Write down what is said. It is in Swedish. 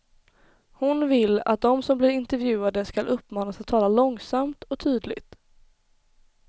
Hon vill att de som blir intervjuade skall uppmanas att tala långsamt och tydligt.